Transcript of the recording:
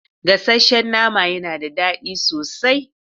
Gasasshen nama yana da daɗi sosai.